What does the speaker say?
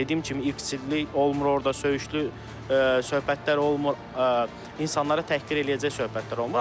Dediyim kimi iksirlik olmur orda, söyüşlü söhbətlər olmur, insanları təhqir eləyəcək söhbətlər olmur.